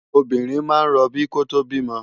Óbirin má n ròbí kótó bimò